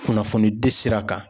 Kunnafoni di sira kan.